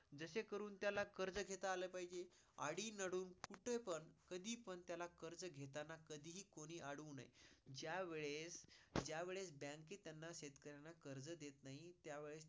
जसे करून त्याला कर्ज घेता आला पाहिजे, आदी नदी कुठे पण, कधी पण त्याला कर्ज घेताना कधी हि कोणी हि अडवू नये. ज्या वेळेस Bank त्यांना, शेतकऱ्यांना कर्ज देत नाही त्यावेळेस